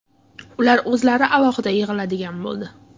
Ular o‘zlari alohida yig‘iladigan bo‘ldi.